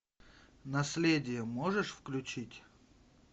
наследие можешь включить